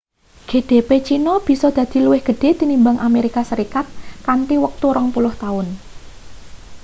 gdp china bisa dadi luwih gedhe tinimbang amerika serikat kanthi wektu rong puluh taun